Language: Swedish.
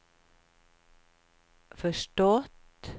förstått